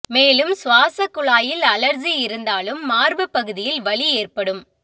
மேலும் சுவாசக் குழாயில் அழற்சி இருந்தாலும் மார்பு பகுதியில் வலி ஏற்படும்